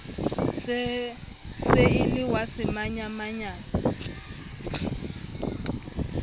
se e le wa semanyamanyane